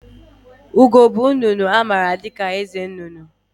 Ugo bụ nnụnụ a maara dịka eze nnụnụ